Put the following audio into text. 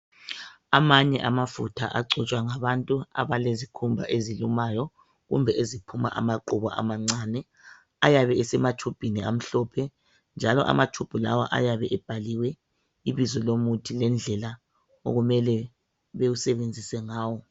Amanye amafutha agcotshwa ngabantu abalezikhumba ezilumayo, kumbe eziphuma amaqubu amancane. Ayabe esema tshubhini amhlophe, njalo amatshubhu lawa ayabe ebhaliwe ibizo lomuthi lendlela okumele bewusebenzise ngawo.